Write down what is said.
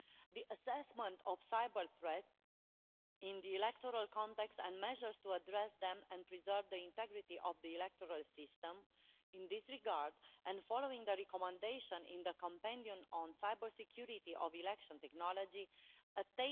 the assessment of cyber-threats in the electoral context and measures to address them and preserve the integrity of the electoral system in this regard